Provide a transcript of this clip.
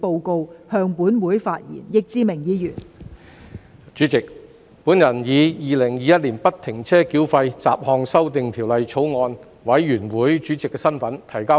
代理主席，我以《2021年不停車繳費條例草案》委員會主席的身份提交報告。